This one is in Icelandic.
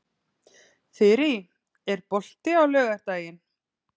Þyrí, er bolti á laugardaginn?